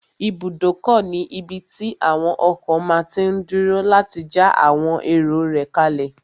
Ibùdókọ̀ ní ibí tí àwon ọkọ̀ máa tí n dúró láti já àwọn èrò rẹ̀ kálẹ̀